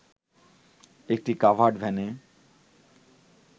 একটি কাভার্ড ভ্যানে